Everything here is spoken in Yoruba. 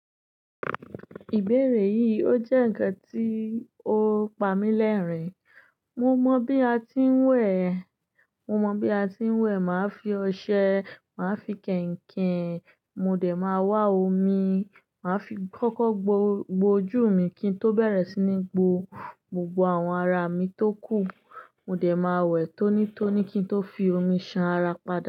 Ìbéèrè yìí ó jẹ́ ǹkan tí ó pamí lẹ́rìn-ín. Mo mọ̀ bí a ti ń wẹ̀, mo mọ̀ bí a ti ń wẹ̀, màá fi ọṣẹ, màá fi kẹ̀ǹkẹ̀, mo dẹ̀ máa wá omi, màá fi kọ́kọ́ gbo ojú mi kí n tó bẹ̀rẹ̀ sí ní gbo gbogbo àwọn ara mi tó kù. Mo dẹ̀ máa wẹ̀ tónítóní kí n tó fi omi ṣan ara padá.